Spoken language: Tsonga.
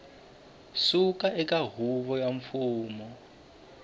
suka eka huvo ya mfumo